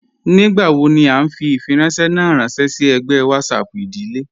Nígbàwò ní à nfì ifìrànṣẹ̀ ná rànṣẹ sí ègbẹ̀ WhatsApp ìdílé